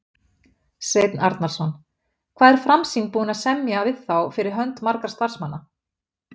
Sveinn Arnarson: Hvað er Framsýn búin að semja við þá fyrir hönd margra starfsmanna?